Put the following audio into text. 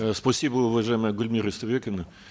э спасибо уважаемая гульмира истайбековна